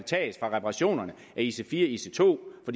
taget fra reparationerne af ic4 og ic2 og